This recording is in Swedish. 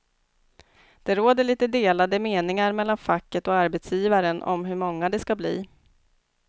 Det råder lite delade meningar mellan facket och arbetsgivaren om hur många det ska bli.